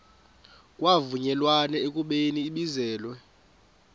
kwavunyelwana ekubeni ibizelwe